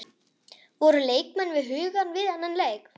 Voru leikmenn við hugann við þann leik?